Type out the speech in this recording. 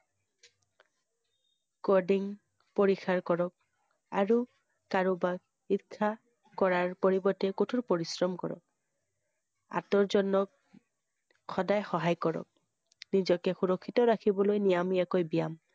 পৰিসাৰ কৰক আৰু কাৰোবাক ঈৰ্ষা কৰাৰ পৰিবৰ্তে কঠোৰ পৰিশ্ৰম কৰক। আঁতৰজনক সদায় সহায় কৰক । নিজকে সুৰক্ষিত ৰাখিবলৈ নিয়মীয়াকৈ ব্যায়াম ।